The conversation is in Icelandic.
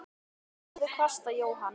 Hún horfði hvasst á Jóhann.